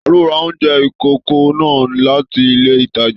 Taló rà oúnjẹ ikòkò náà láti ilé ìtàjà?